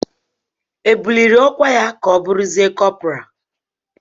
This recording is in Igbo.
E buliri ọkwa ya ka ọ bụrụzie kọpral?